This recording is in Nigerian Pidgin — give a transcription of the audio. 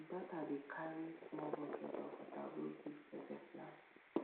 my daughter dey carry small bucket of water go give pepper plant